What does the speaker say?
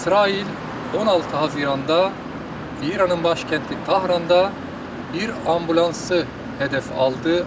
İsrail 16 iyunda İranın başkəndi Tahranda bir ambulansı hədəf aldı.